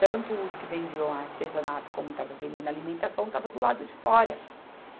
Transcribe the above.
Tanto os que vendiam artesanato, como estavam vendendo alimentação, estavam do lado de fora.